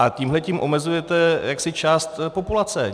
A tímhle omezujete jaksi část populace.